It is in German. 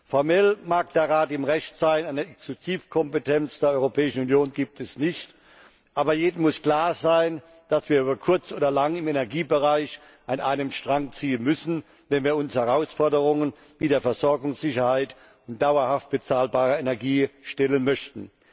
Formell mag der Rat im Recht sein, eine Exekutivkompetenz der Europäischen Union gibt es nicht. Aber jedem muss klar sein, dass wir über kurz oder lang im Energiebereich an einem Strang ziehen müssen, wenn wir uns Herausforderungen wie der Versorgungssicherheit und dauerhaft bezahlbarer Energie stellen möchten.